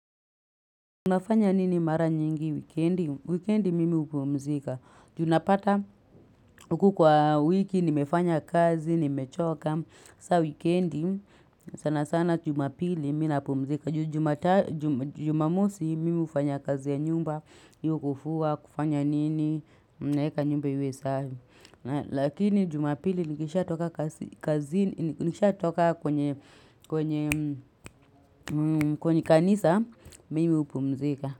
Unafanya nini mara nyingi wikendi, wikendi mimi upumzika. Unapata uku kwa wiki nimefanya kazi, nimechoka, saa wikendi sana sana jumapili minapumzika. Jumamosi mimi ufanya kazi ya nyumba, hiyo kufua, kufanya nini, mneka nyumba iwe safi. Lakini jumapili nikisha toka kwenye kanisa, mimi upumzika.